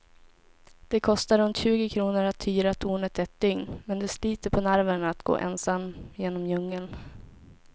Det kostar runt tjugo kronor att hyra tornet ett dygn, men det sliter på nerverna att gå ensam genom djungeln.